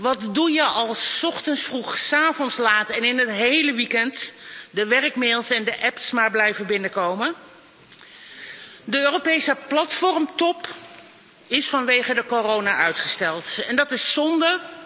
Wat doe je als 's ochtends vroeg, 's avonds laat en in het hele weekend de werkmails en de apps maar blijven binnenkomen? De Europese platformtop is vanwege de coronacrisis uitgesteld en dat is zonde.